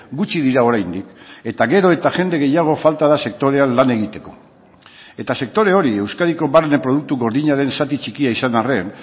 gutxi dira oraindik eta gero eta jende gehiago falta da sektorean lan egiteko eta sektore hori euskadiko barne produktu gordinaren zati txikia izan arren